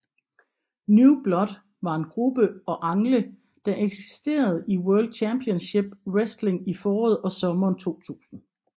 New Blood var en gruppe og angle der eksisterede i World Championship Wrestling i foråret og sommeren 2000